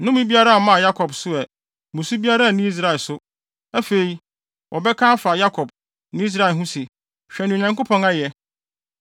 Nnome biara mmaa Yakob so ɛ, mmusu biara nni Israel so. Afei, wɔbɛka afa Yakob ne Israel ho se, ‘Hwɛ nea Onyankopɔn ayɛ!’